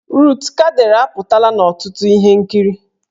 Rut Kadịrị apụtala n'ọtụtụ ihe nkiri